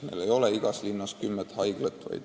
Meil ei ole igas linnas kümmet haiglat.